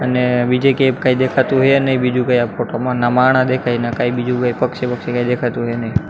અને બીજે કેઈ દેખાતું હે નહીં બીજું કાંઈ આ ફોટો માં ના માણહ દેખાય હે ન કાંઈ બીજું કઈ પક્ષી બક્ષી કાંઈ દેખાતું હે નહી.